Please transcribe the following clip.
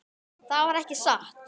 Það var ekki satt.